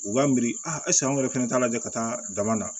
U b'an miiri an yɛrɛ fɛnɛ t'a lajɛ ka taa dama na